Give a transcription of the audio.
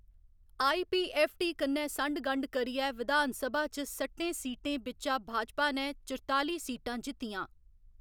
IPFT. कन्नै संढ गंढ करियै विधानसभा च सट्टें सीटें बिच्चा भाजपा ने चुरताली सीटां जित्तियां।